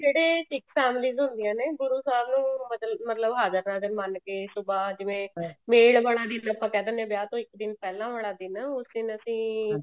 ਜਿਹੜੇ ਸਿੱਖ families ਹੁੰਦੀਆਂ ਨੇ ਗੁਰੂ ਸਾਹਿਬ ਨੂੰ ਮਤਲਬ ਹਾਜਰ ਨਾਜਰ ਮੰਨ ਕੇ ਸੁਭਾਹ ਮਤਲਬ ਜਿਵੇਂ ਮੇਲ ਵਾਲਾ ਦਿਨ ਜਿਹਨੂੰ ਆਪਾਂ ਕਹਿ ਦਿੰਦੇ ਹਾਂ ਵਿਆਹ ਤੋਂ ਇੱਕ ਦਿਨ ਪਹਿਲਾਂ ਵਾਲਾ ਦਿਨ ਉਸ ਤੋਂ ਅਸੀਂ